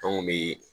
Anw kun bi